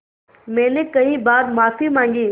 मैंने कई बार माफ़ी माँगी